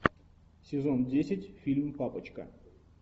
сезон десять фильм папочка